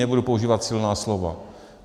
Nebudu používat silná slova.